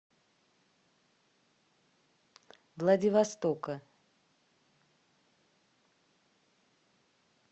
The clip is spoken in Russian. владивостока